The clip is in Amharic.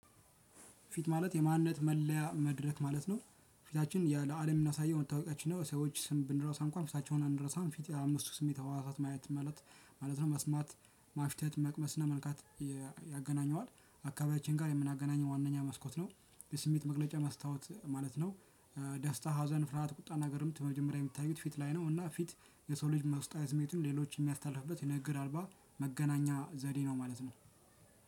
ፊት ማለት የማንነት መለያ መድረክ ማለት ነው። ፊታችን የ ለአለም የምናሳየው መታወቂያችን ነው ሰዎች ስም ብንረሳ እንኳን ፊታቸውን አንረሳም። ፊት የአምስቱ ስሜት ህዋሳት ማየት ማለት ማለት ነው። መስማት ማሽተት መቅመስ እና መንካት ያገናኘዋል አካባቢያችን ጋ የምናገናኘው ዋናኛ መስኮት ነው። የስሜት መግለጫ መስታዋት ማለት ነው። ደስታ ሀዘን ፍርሃት ቁጣ ነገርም መጀመሪያ የሚታዩት ፊት ላይ ነው። እና ፊት የሰው ልጅ ውስጣዊ ስሜቱን ሌሎች ሚያስተላልፍበት ነገር አልባ መገናኛ ዘዴ ነው ማለት ነው።